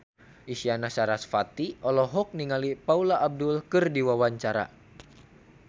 Isyana Sarasvati olohok ningali Paula Abdul keur diwawancara